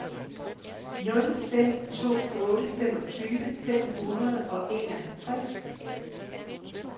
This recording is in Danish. nul fem to otte femogtyve fem hundrede og enoghalvtreds